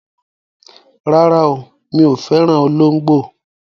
Rárá, mi ò fẹ́ràn olóńgbò.